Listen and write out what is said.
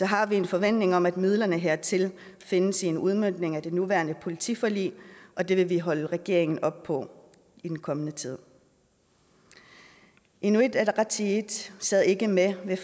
har vi en forventning om at midlerne hertil findes i en udmøntning af det nuværende politiforlig og det vil vi holde regeringen op på i den kommende tid inuit ataqatigiit sad ikke med ved